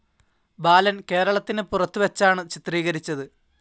ബാലൻ കേരളത്തിന് പുറത്തുവെച്ചാണ് ചിത്രീകരിച്ചത്.